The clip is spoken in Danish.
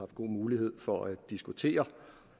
gode muligheder for at diskutere